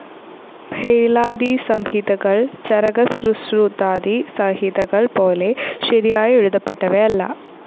ഭേളാദിസംഹിതകൾ, ചരകസുശ്രുതാദി സംഹിതകൾപോലെ ശരിയായി എഴുതപ്പെട്ടവയല്ല.